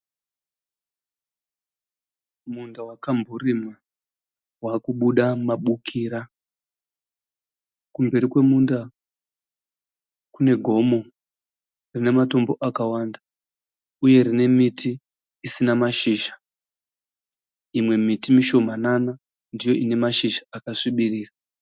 Munda wakamborimwa wakubuda mabukira .Kumberi kwemunda kune gomo rine matombo akawanda uye rine miti isina mashizha. .Imwe miti mishomanana ndoine mashizha akasvibirira.